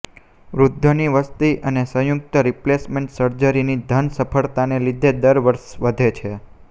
વૃદ્ધોની વસ્તી અને સંયુક્ત રિપ્લેસમેન્ટ સર્જરીની ઘન સફળતાને લીધે દર વર્ષે વધે છે